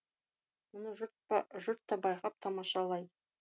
мұны жұрт та байқап тамашалайды